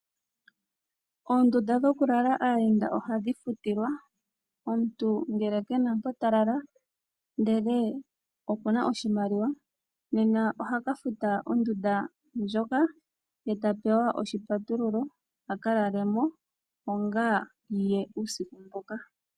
Oondunda dhokulala aayenda ohadhi futilwa, omuntu ngele kena mpa talala ndele okuna oshimaliwa nena ohakafuta ondunda ndjoka ye tapewa oshipatululo akalalemo onga yaye uusiku mboka.